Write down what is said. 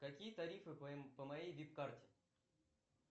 какие тарифы по моей вип карте